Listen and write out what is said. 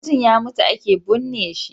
Sai mutun ya mutu ake bunne shi